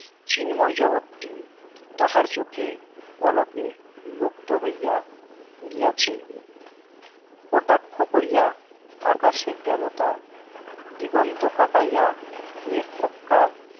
চিনময় জগত টি তাহার চোখে পলকে লুপ্ত হইয়া গিয়াছে কটাক্ষ করিয়া আকাশের দেবতা দিগন্ত কাপাইয়া এক হক্কার